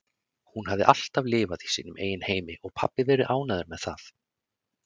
Hún hafði alltaf lifað í sínum eigin heimi og pabbi verið ánægður með það.